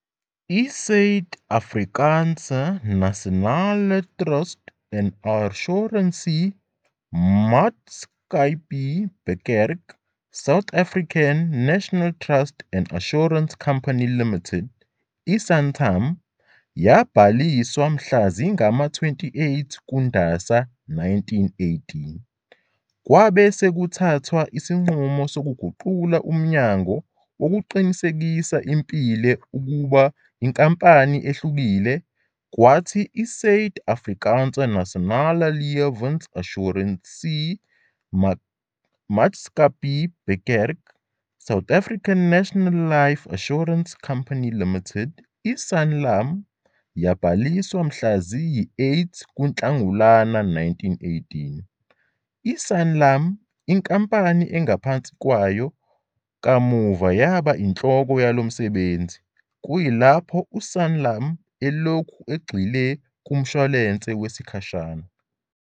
I- S uid- A frikaanse N asionale T rust en A ssuransie M aatskappij Beperk, South African National Trust and Assurance Company Limited, i- Santam, yabhaliswa mhla zingama-28 kuNdasa 1918. Kwabe sekuthathwa isinqumo sokuguqula umnyango wokuqinisekisa impilo ube inkampani ehlukile, kwathi i- S uid- A frikaanse N asionale L ewens A ssuransie M aatskappij Beperk, South African National Life Assurance Company Limited, i-Sanlam, yabhaliswa mhla ziyisi-8 kuNhlangulana 1918. I-Sanlam, inkampani engaphansi kwayo, kamuva yaba inhloko yalo msebenzi, kuyilapho u-Sanlam elokhu egxile kumshwalense wesikhashana.